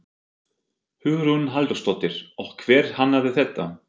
Hugrún Halldórsdóttir: Og hver hannaði þetta?